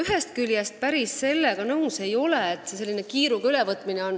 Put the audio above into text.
Ma ei ole küll päris nõus sellega, et see on kiiruga ülevõtmine.